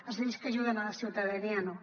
les lleis que ajuden la ciutadania no